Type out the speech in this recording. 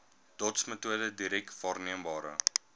dotsmetode direk waarneembare